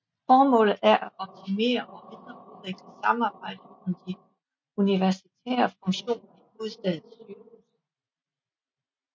Formålet er at optimere og videreudvikle samarbejdet om de universitære funktioner i hovedstadens sygehuse